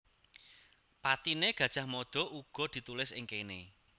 Patine Gajah Mada uga ditulis ing kene